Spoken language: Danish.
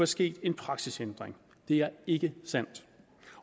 sket en praksisændring det er ikke sandt